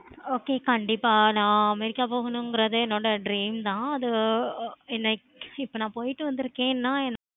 okay கண்டிப்பா நான் america போகணும்ங்கிறதே என்னோட dream தான் அது இப்ப நான் போயிட்டு வந்துருக்கிறேன்னா